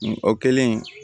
O kɛlen